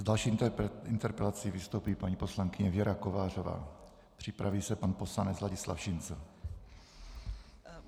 S další interpelací vystoupí paní poslankyně Věra Kovářová, připraví se pan poslanec Ladislav Šincl.